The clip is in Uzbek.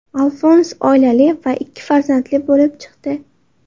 Alfons oilali va ikki farzandli bo‘lib chiqdi.